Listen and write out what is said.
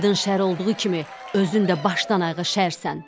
Adın şər olduğu kimi, özün də başdan-ayağa şərsən.